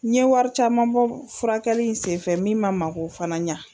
N ɲɛ wari caman bɔ furakɛli in sen fɛ min ma mako fana ɲɛ.